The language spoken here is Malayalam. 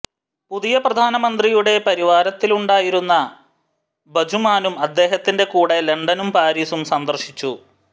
പുതിയ പ്രധാനമന്ത്രിയുടെ പരിവാരത്തിലുണ്ടായിരുന്ന ഭജുമാനും അദ്ദേഹത്തിന്റെ കൂടെ ലണ്ടനും പാരീസും സന്ദർശിച്ചു